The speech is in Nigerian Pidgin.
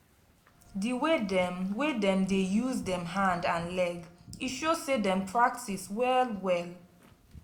di way dem way dem dey use dem hand and leg e show say dem practice well-well.